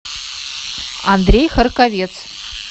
андрей харковец